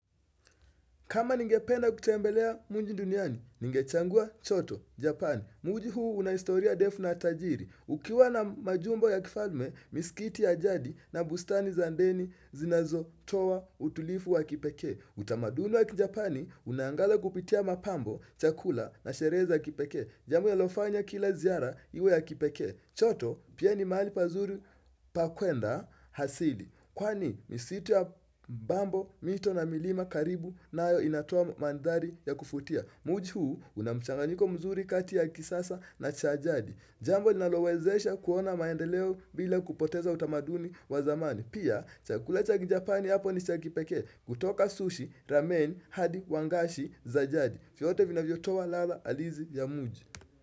Kama ningependa kutembelea mwingi duniani, ningechangua choto, japani. Muji huu una historia ndefu na tajiri. Ukiwa na majumbo ya kifalme, misikiti ya jadi na bustani za ndeni zinazotoa utulifu wa kipekee. Utamaduni wa kijapani, unaangaza kupitia mapambo, chakula na sherehe kipekee. Jambo linalofanya kila ziara, iwe ya kipekee. Choto, pia ni mahali pazuri, pa kwenda, hasidi. Kwani misitu ya bambo, mito na milima karibu nayo inatoa mandhari ya kufutia Muji huu unamchanganyiko mzuri kati ya kisasa na cha jadi Jambo nalowezesha kuona maendeleo bila kupoteza utamaduni wa zamani Pia, chakula chakijapani hapo ni cha kipekee kutoka sushi, ramen, hadi, wangashi, za jadi vyote vinavyotoa ladha halizi ya muji.